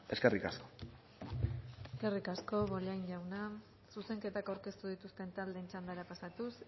eskerrik asko eskerrik asko bollain jauna zuzenketak aurkeztu dituzten taldeen txandara pasatuz